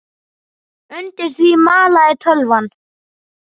Undir því malaði tölvan.